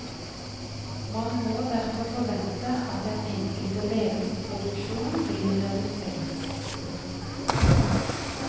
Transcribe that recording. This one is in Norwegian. Man må derfor forvente at den enkelte leges produksjon vil reduseres. punktum